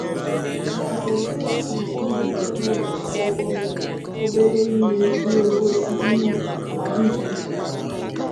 Ma ụdi ndụ m biri n'ụlọ akwụkwọ mere ọbere ihe n'igosi ihe na ndụ m putara.